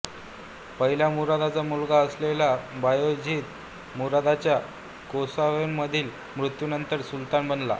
पहिल्या मुरादचा मुलगा असलेला बायेझिद मुरादच्या कोसोव्होमधील मृत्यूनंतर सुलतान बनला